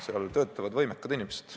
Seal töötavad võimekad inimesed.